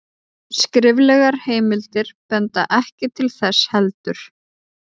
skriflegar heimildir benda ekki til þess heldur